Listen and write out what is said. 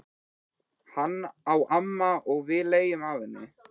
Hana á amma og við leigjum af henni.